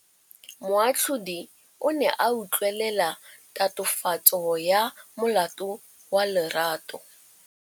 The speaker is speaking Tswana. Moatlhodi o ne a utlwelela tatofatsô ya molato wa Lerato.